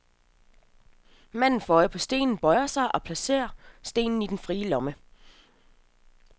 Manden får øje på stenen, bøjer sig, og placerer stenen i den frie lomme.